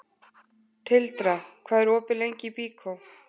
Tildra, hvað er opið lengi í Byko?